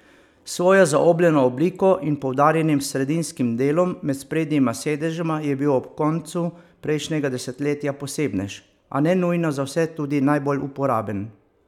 S svojo zaobljeno obliko in poudarjenim sredinskim delom med sprednjima sedežema je bil ob koncu prejšnjega desetletja posebnež, a ne nujno za vse tudi najbolj uporaben.